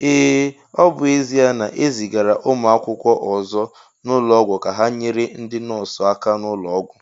Ee, ọ bụ ezia na ezigara ụmụ akwụkwọ ọzọ n'ụlọọgwụ ka ha nyere ndi nọọsụ aka n'ulo Ọgwụ